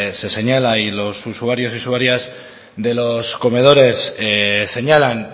se señala y los usuarios y usuarias de los comedores señalan